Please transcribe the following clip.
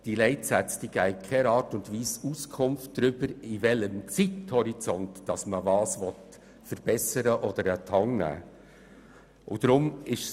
Sie geben in keiner Art und Weise Auskunft darüber, in welchem Zeithorizont man was verbessern oder an die Hand nehmen will.